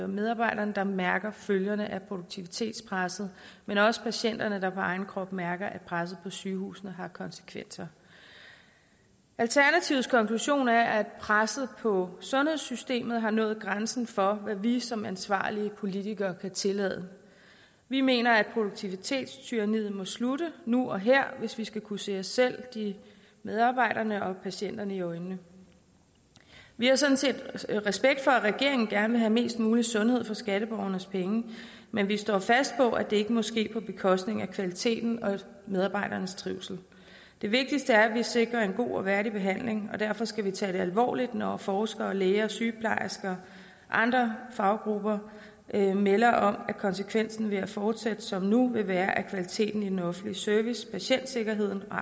medarbejderne der mærker følgerne af produktivitetspresset men også patienterne der på egen krop mærker at presset på sygehusene har konsekvenser alternativets konklusion er at presset på sundhedssystemet har nået grænsen for hvad vi som ansvarlige politikere kan tillade vi mener at produktivitetstyranniet må slutte nu og her hvis vi skal kunne se os selv medarbejderne og patienterne i øjnene vi har sådan set respekt for at regeringen gerne vil have mest mulig sundhed for skatteborgernes penge men vi står fast på at det ikke må ske på bekostning af kvaliteten og medarbejdernes trivsel det vigtigste er at vi sikrer en god og værdig behandling og derfor skal vi tage det alvorligt når forskere læger og sygeplejersker og andre faggrupper melder om at konsekvensen ved at fortsætte som nu vil være at kvaliteten i den offentlige service patientsikkerheden og